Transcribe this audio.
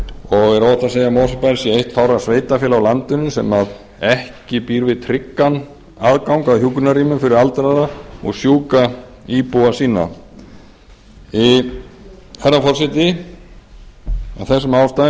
og er óhætt að segja að mosfellsbær sé eitt fárra sveitarfélaga á landinu sem ekki býr við tryggan aðgang að hjúkrunarrýmum fyrir aldraða og sjúka íbúa sína herra forseti af þessum ástæðum ber ég